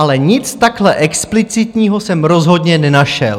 - ale nic takhle explicitního jsem rozhodně nenašel.